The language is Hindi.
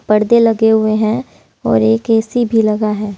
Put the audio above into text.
पर्दे लगे हुए हैंऔर एक ए_सी भी लगा है।